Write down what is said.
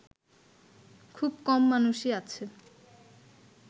খুব কম মানুষই আছে